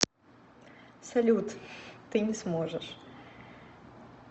салют ты не сможешь